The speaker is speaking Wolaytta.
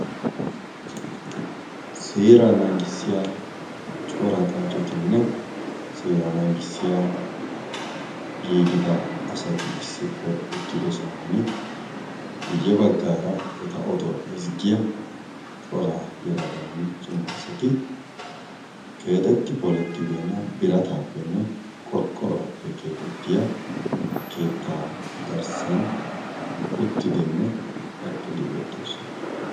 seera naagissiya cora xaacetinne seera naagissiya giigida asati issippe uttido sohan guyye baggaara eta oduwaa ezggiya cora yalaganne cimma asati keexetti polettibeenna birataappenne qorqqoraappe keexettiya keettaa garssan uttidenne eqqidi beettoosona